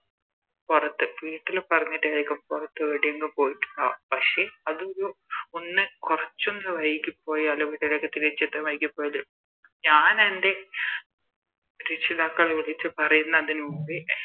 പൊറത്ത് വീട്ടില് പറഞ്ഞിട്ടാരിക്കും പൊറത്തേടെങ്കും പോയിട്ടുണ്ടാവ പക്ഷെ അത് ഒന്ന് കൊറച്ചൊന്ന് വൈകിപ്പോയാല് വീട്ടിലേക്ക് തിരിച്ച് എത്താൻ വൈകിപ്പോയാല് ഞാനെൻറെ രക്ഷിതാക്കളെ വിളിച്ച് പറയുന്നതിന് മുമ്പേ